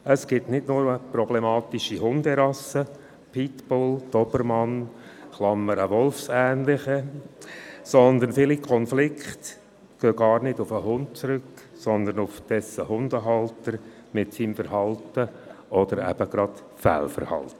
Es gibt nicht nur problematische Hunderassen wie Pitbull oder Dobermann – Klammer: wolfsähnliche –, sondern viele Konflikte gehen gar nicht auf den Hund zurück, sondern auf dessen Hundehalter mit seinem Verhalten oder Fehlverhalten.